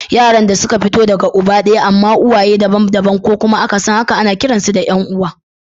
Yaran da suka fito daga uba daya amma uwaye daban-daban ko kuma akasin haka ana kiransu ‘ya’yan uwa.